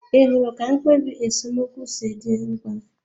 Ị hụrụ ka mkpebi esemokwu si dị mkpa?